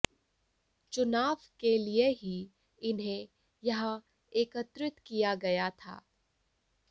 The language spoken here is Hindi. चुनाव के लिए ही इन्हें यहां एकत्रित किया गया था